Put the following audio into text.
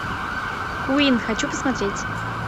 куин хочу посмотреть